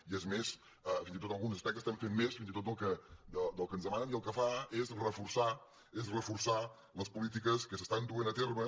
i és més fins i tot en alguns aspectes fem més fins i tot del que ens demanen i el que fa és reforçar les polítiques que es duen a terme